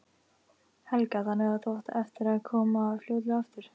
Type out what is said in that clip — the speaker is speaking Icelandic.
Helga: Þannig að þú átt eftir að koma fljótlega aftur?